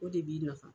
O de b'i nafa